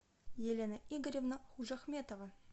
елена игоревна ужахметова